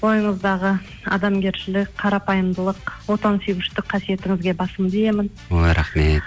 бойыңыздағы адамгершілік қарапайымдылық отансүйгіштік қасиетіңізге басымды иемін ой рахмет